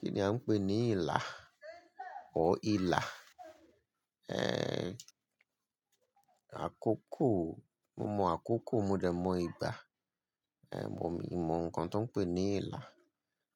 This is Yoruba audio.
Kí ni a ń pè ní ilà or ìlà? Ehn, àkókò, mo mọ̀ àkókò mo dẹ̀ mọ̀ ìgbà, ehn mo but mi ò mọ̀ nǹkan tó ń pé ní ìlà.